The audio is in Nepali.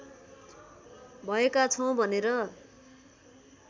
भएका छौँ भनेर